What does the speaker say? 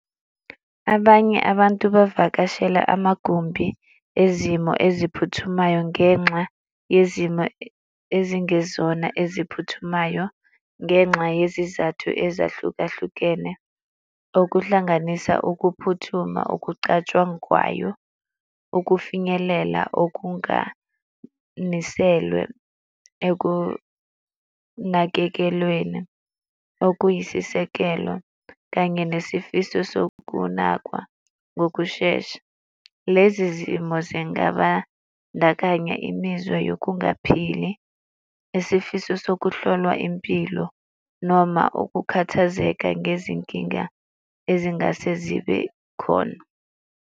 Abanye abantu bevakashela amagumbi ezimo eziphuthumayo ngenxa yezimo ezingezona eziphuthumayo ngenxa yezizathu ezahlukahlukene okuhlanganisa ukuphuthuma okucatshangwayo, ukufinyelela okunganiselwe ekunakekelweni okuyisisekelo, kanye nesifiso sokunakwa ngokushesha. Lezi zimo zingabandakanya imizwa yokungaphili, isifiso sokuhlolwa impilo noma ukukhathazeka ngezinkinga ezingase zibe khona.